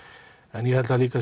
en ég held líka